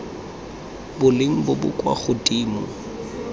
boleng bo bo kwa godimo